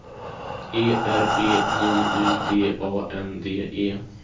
E R B J U D A N D E